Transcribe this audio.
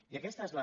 i aquesta és la